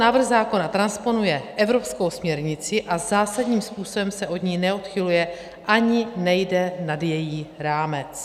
Návrh zákona transponuje evropskou směrnici a zásadním způsobem se od ní neodchyluje ani nejde nad její rámec.